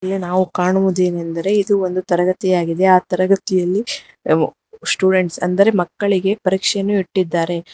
ನಾವು ಕಾಣುವುದು ಏನೆಂದರೆ ಇದು ತರಗತಿಯಾಗಿದೆ ಆ ತರಗತಿಯಲ್ಲಿ ಸ್ಟೂಡೆಂಟ್ಸ್ ಅಂದರೆ ಮಕ್ಕಳಿಗೆ ಪರೀಕ್ಷೆಯನ್ನು ಇಟ್ಟಿದ್ದಾರೆ.